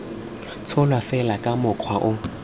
tsholwa fela ka mokgwa o